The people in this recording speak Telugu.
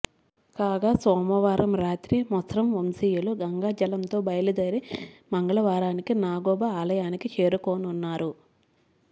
కాగా సోమవారం రాత్రి మెస్రం వంశీయులు గంగాజలంతో బయలుదేరి మంగళవారానికి నాగోబా ఆలయానికి చేరుకోనున్నారు